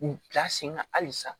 U bila sen kan halisa